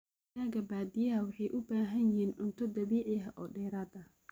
Digaaga baadiyaha waxay u baahan yihiin cunto dabiici ah oo dheeraad ah.